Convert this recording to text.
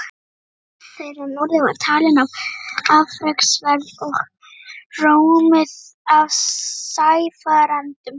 Ferð þeirra norður var talin afreksverk og rómuð af sæfarendum.